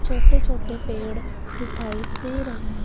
छोटे छोटे पेड़ दिखाई दे रहे हैं।